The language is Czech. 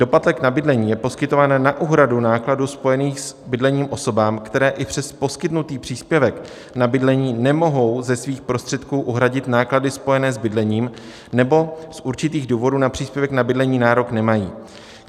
Doplatek na bydlení je poskytován na úhradu nákladů spojených s bydlením osobám, které i přes poskytnutý příspěvek na bydlení nemohou ze svých prostředků uhradit náklady spojené s bydlením, nebo z určitých důvodů na příspěvek na bydlení nárok nemají.